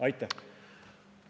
Aitäh!